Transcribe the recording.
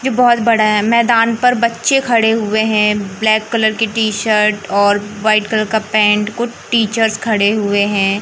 ये बहोत बड़ा है मैदान पर बच्चे खड़े हुए हैं ब्लैक कलर की टी शर्ट और वाइट कलर का पेंट कुछ टीचर्स खड़े हुए हैं।